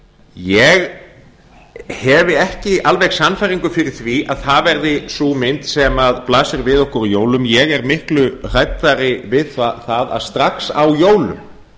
ég hef ekki alveg sannfæringu fyrir því að það verði sú mynd sem blasir við okkur á jólum ég er miklu hræddari við það að strax á jólum